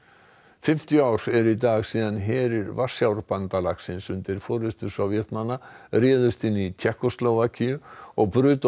fimmtíu ár eru í dag síðan herir Varsjárbandalagsins undir forystu Sovétmanna réðust inn í Tékkóslóvakíu og brutu